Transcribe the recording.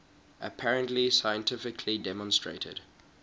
apparently scientifically demonstrated